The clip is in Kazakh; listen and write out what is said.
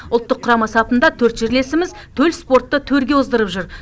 ұлттық құрама сапында төрт жерлесіміз төл спортты төрге оздырып жүр